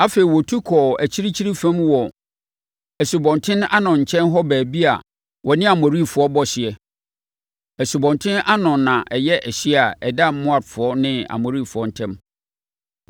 Afei, wɔtu kɔɔ akyirikyiri fam wɔ Asubɔnten Arnon nkyɛn hɔ baabi a wɔne Amorifoɔ bɔ hyeɛ. Asubɔnten Arnon na ɛyɛ ɛhyeɛ a ɛda Moabfoɔ ne Amorifoɔ ntam.